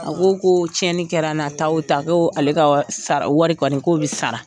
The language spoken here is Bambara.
A ko ko tiɲɛni kɛra n na ta o ta ko ale ka sara wari kɔni k'o bi sara.